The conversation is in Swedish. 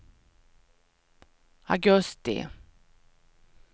augusti